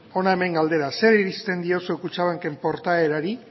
hona hemen galdera zer irizten diozu kutxabanken portaerari